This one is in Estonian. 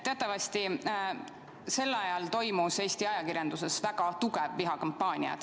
Teatavasti sel ajal toimus Eesti ajakirjanduses väga tugev vihakampaania.